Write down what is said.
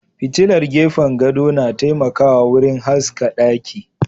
Fitilar gefen gado na taimakawa wurin haska ɗaki.